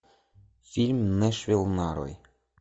фильм нэшвилл нарой